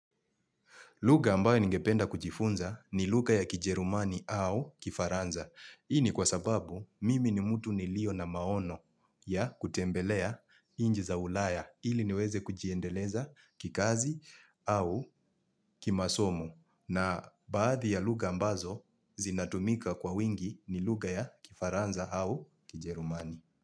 Lugha ambayo ningependa kujifunza ni lugha ya kijerumani au kifaranza. Ii ni kwa sababu mimi ni mtu nilio na maono ya kutembelea inji za ulaya ili niweze kujiendeleza kikazi au kimasomo. Na baadhi ya lugha ambazo zinatumika kwa wingi ni lugha ya kifaranza au kijerumani.